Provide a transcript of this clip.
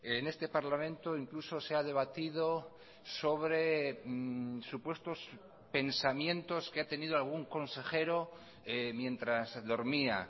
en este parlamento incluso se ha debatido sobre supuestos pensamientos que ha tenido algún consejero mientras dormía